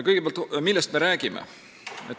Kõigepealt, millest me räägime?